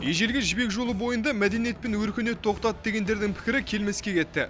ежелгі жібек жолы бойында мәдениет пен өркениет тоқтады дегендердің пікірі келмеске кетті